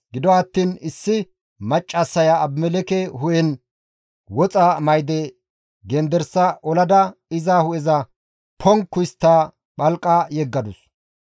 Gido attiin issi maccassaya Abimelekke hu7en woxa mayde gendersa olada iza hu7eza ponkku histta phalqa yeggadus.